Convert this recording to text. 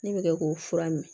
Ne bɛ kɛ k'o fura min